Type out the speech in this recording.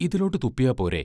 ഇതിലോട്ടു തുപ്പിയാപ്പോരേ?